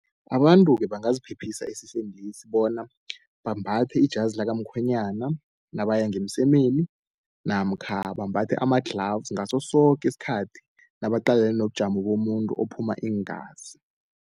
Abantu-ke bangaziphephisa esifeni lesi bona bambathe ijazi lakamkhwenyana nabaya ngemsemeni, namkha bambathe ama-gloves ngasosoke isikhathi nabaqalene nobujamo bomuntu ophuma iingazi.